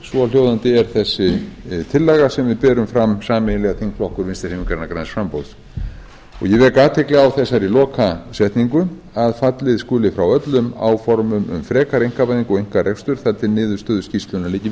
svohljóðandi er þessi tillaga sem við berum fram sameiginlega þingflokkur vinstri hreyfingarinnar græns framboðs ég vek athygli á þessari lokasetningu fallið skuli frá öllum áformum um frekari einkavæðingu og einkarekstur þar til niðurstöður skýrslunnar liggi